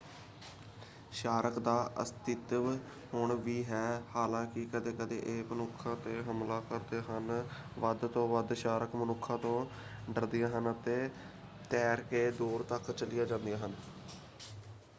Shark ਦਾ ਅਸਤਿਤਵ ਹੁਣ ਵੀ ਹੈ ਹਾਲਾਂਕਿ ਕਦੇ-ਕਦੇ ਇਹ ਮਨੁੱਖਾਂ 'ਤੇ ਹਮਲਾ ਕਰਦੇ ਹਨ। ਵੱਧ ਤੋਂ ਵੱਧ ਸ਼ਾਰਕ ਮਨੁੱਖਾ ਤੋਂ ਡਰਦੀਆਂ ਹਨ ਅਤੇ ਤੈਰ ਕੇ ਦੂਰ ਤੱਕ ਚਲੀਆਂ ਜਾਂਦੀਆਂ ਹਨ।